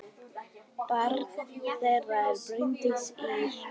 Barn þeirra er Bryndís Ýr.